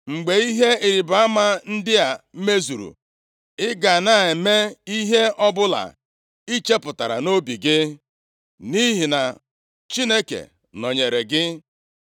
Mgbe ihe ịrịbama ndị a mezuru ị ga na-eme ihe ọbụla i chepụtara nʼobi gị, nʼihi na Chineke nọnyeere gị.